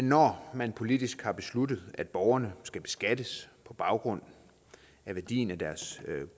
når man politisk har besluttet at borgerne skal beskattes på baggrund af værdien af deres